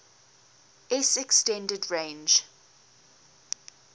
s extended range